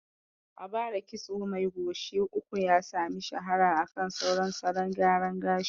A bara kitso mai goshi uku ya sami shahara akan sauran salon gyara gashi.